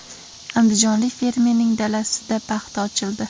Andijonlik fermerning dalasida paxta ochildi.